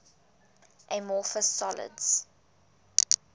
amorphous solids